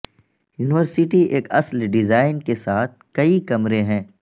university ایک اصل design کے ساتھ کئی کمرے ہیں